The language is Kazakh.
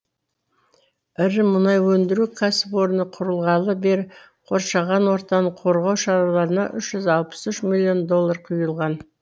ірі мұнай өндіру кәсіпорны құрылғалы бері қоршаған ортаны қорғау шараларына үш жүз алпыс үш миллион доллар құйылған